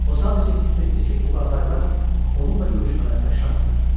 O sadəcə hiss etdi ki, bu qağaylar onunla görüşmələrinə şaddırlar.